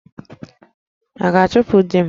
A ga-achụpụ di m?